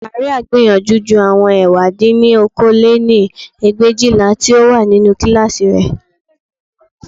Màríà gbìyànjú ju àwọn ẹ̀wá dín ní okòó lé-ní ẹgbẹ̀éjìlá tí ó wà nínú kíláàsì rẹ̀